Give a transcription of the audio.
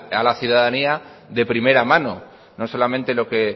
a la ciudadanía de primera mano no solamente lo que